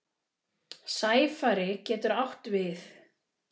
Sæfari getur átt við